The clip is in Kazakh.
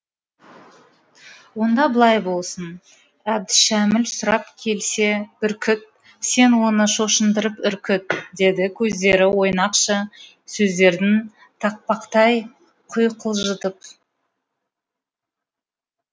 онда былай болсын әбдішәміл сұрап келсе бүркіт сен оны шошындырып үркіт деді көздері ойнақши сөздерін тақпақтай құйқылжытып